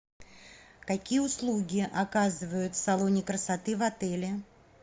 какие услуги оказывают в салоне красоты в отеле